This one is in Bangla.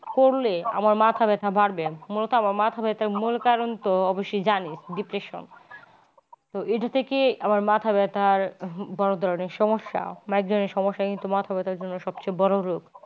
করলে আমার মাথা ব্যাথা বাড়বে আমার মাথা ব্যথার মূল কারণ তো সে জানিস depression তো এটা থেকে আমার মাথা ব্যথার বড়ো ধরনের সমস্যা migraine সমস্যা কিন্তু মাথা ব্যাথার জন্যে সব চেয়ে বড় রোগ।